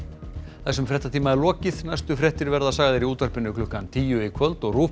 þessum fréttatíma er lokið næstu fréttir verða sagðar í útvarpi klukkan tíu í kvöld og rúv